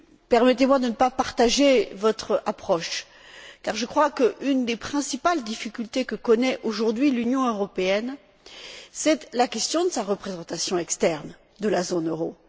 Permettez moi de ne pas partager votre approche car l'une des principales difficultés que connaît aujourd'hui l'Union européenne est la question de la représentation extérieure de la zone euro.